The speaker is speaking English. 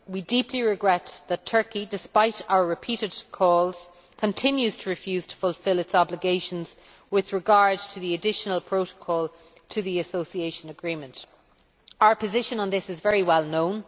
We deeply regret that Turkey despite our repeated calls continues to refuse to fulfil its obligations with regard to the Additional Protocol to the Association Agreement. Our position on this is very well known.